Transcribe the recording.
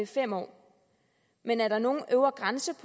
fem år men er der nogen øvre grænse